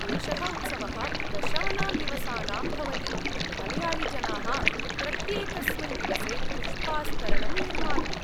एषः उत्सवः दशानां दिवसानां भवति, मलयाळीजनाः प्रत्येकस्मिन् दिवसे पुष्पास्तरणं निर्मान्ति।